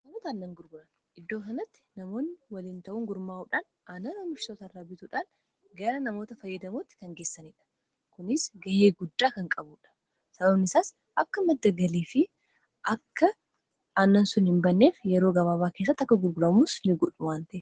dunkaanota anan gurguran iddoo sanatti namoonni waliin ta'uun gurmaa'uudhaan annan amishsotara bituudhaan gara namoota fayyidamootti kan geessaniidha kunis gayee guddaa kan qabudha sabam isaas akka maddagalii fi akka annan sun hin banneef yeroo gabaabaa keessatti akka gurburamus n godhu wantae